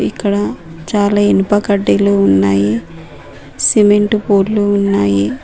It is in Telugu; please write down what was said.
ఇక్కడ చాలా ఇనుప కడ్డీలు ఉన్నాయి సిమెంటు ఉన్నాయి.